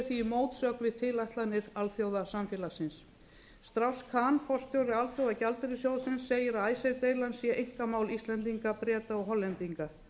því í mótsögn við tilætlanir alþjóðsamfélagsins strauss kahn forstjóri alþjóðagjaldeyrissjóðsins segir að icesave deilan sé einkamál íslendinga breta og hollendinga